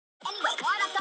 Dóri á að vera hann!